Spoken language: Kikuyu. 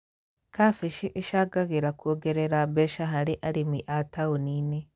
Kambĩji ĩcangagĩra kuongerera mbeca harĩ arĩmi a taũni-inĩ